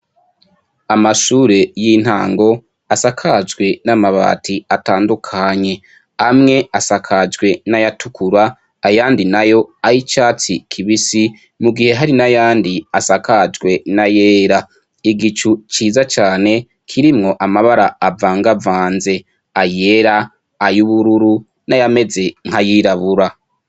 Amashure y’intango asakajwe n’amabati atandukanye, amwe asakajwe n’ayatukura ayandi nayo ay’icatsi kibisi mu gihe hari n’ayandi asakajwe n’ayera. Igicu ciza cane kirimwo amabara avanga avanze ayera, ayubururu n’ayameze nkayirabura.